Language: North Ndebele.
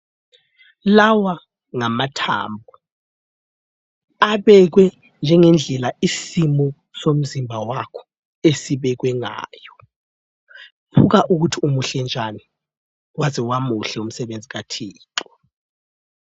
Lawa ngamathambo, abekwe njengendlela isimo somzimba wakho esibekwe ngayo. Buka ukuthi umuhle njani. Waze wamuhle umsebenzi kaThixo.